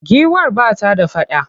Giwar ba ta da faɗa.